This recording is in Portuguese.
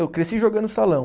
Eu cresci jogando no salão.